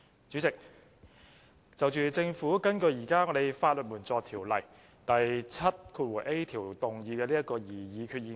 主席，政府根據現時《法律援助條例》第 7a 條，動議擬議決議案。